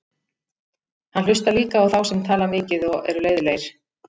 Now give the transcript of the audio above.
Hann hlustar líka á þá sem tala mikið og eru leiðinlegir.